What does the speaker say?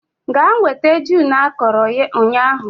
Gaa nweta gin akọrọ ụnyahụ